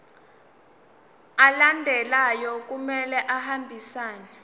alandelayo kumele ahambisane